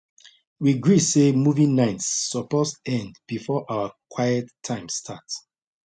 we gree say movie nights suppose end before our quiet time start